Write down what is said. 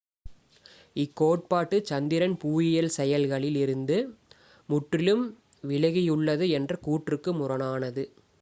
இக்கோட்பாடு சந்திரன் புவியியல் செயல்களில் இருந்து முற்றிலும் விலகியுள்ளது என்ற கூற்றுக்குக் முரணானது